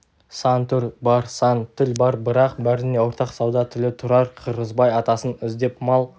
сан түр бар сан тіл бар бірақ бәріне ортақ сауда тілі тұрар қырғызбай атасын іздеп мал